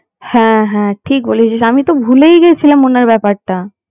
হ্যাঁ হ্যাঁ ঠিক বলেছিস আমি তো ভুলেই গেছিলাম ওনার ব্যাপারটা